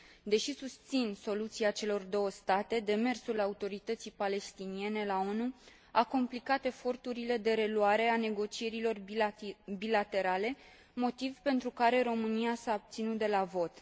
Deși susțin soluția celor două state, demersul Autorității Palestiniene la ONU a complicat eforturile de reluare a negocierilor bilaterale, motiv pentru care România s a abținut de la vot.